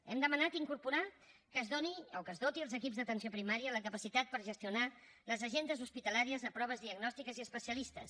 hem demanat incorporar que es doni o que es doti els equips d’atenció primària de la capacitat per gestionar les agendes hospitalàries de proves diagnòstiques i especialistes